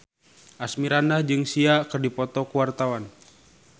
Asmirandah jeung Sia keur dipoto ku wartawan